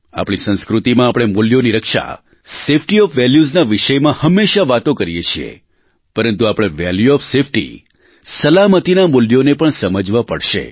આપણી સંસ્કૃતિમાં આપણે મૂલ્યોની રક્ષા સેફ્ટી ઓફ વેલ્યુસના વિષયમાં હમેશા વાતો કરીએ છીએ પરંતુ આપણે વેલ્યુ ઓફ સેફ્ટી સલામતીના મૂલ્યોને પણ સમજવા પડશે